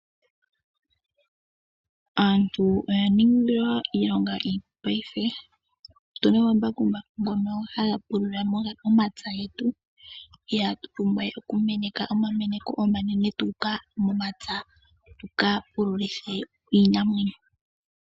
Aantu oya ningilwa iilonga iipu paife otuna omambakumbaku ngono haga pulula omapya getu ihatu pumbwa we okumeneka omameneko omanene tuuka momapya tuka pululithe iinamwenyo.